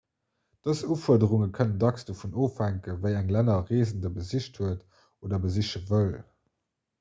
dës ufuerderunge kënnen dacks dovun ofhänken wéi eng länner e reesende besicht huet oder besiche wëll